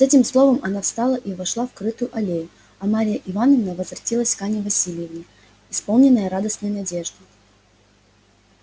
с этим словом она встала и вошла в крытую аллею а марья ивановна возвратилась к анне власьевне исполненная радостной надежды